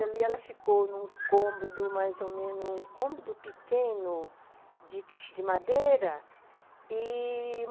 Ela ficou num cômodo, mais ou menos, um cômodo pequeno de de madeira e...